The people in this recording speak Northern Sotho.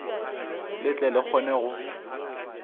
le tle le kgone go